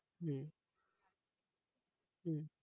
হম হম